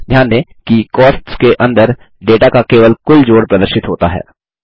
ध्यान दें कि कॉस्ट्स के अंदर डेटा का केवल कुल जोड़ प्रदर्शित होता है